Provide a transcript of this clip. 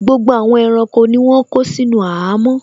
Gbogbo àwọn ẹranko ni wọ́n kó sínú àhámọ́